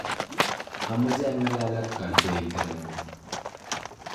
amache angalal ak kantointe ngung.